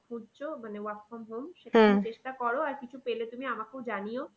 খুঁজছো মানে work from home চেষ্টা করো আর কিছু পেলে তুমি আমাকেও জানিও